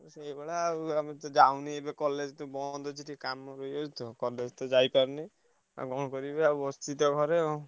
ସେଇଭଳିଆ ଆଉ ଆଉ ମୁଁ ଯାଉନି ଏବେ college ତ ବନ୍ଦ ଅଛି ଟିକେ କାମ ରହିଯାଇଛି ତ college ଯାଇପାରୁନି। ଆଉ କଣ କରିବି ଆଉ ବସିଚି ତ ଘରେ।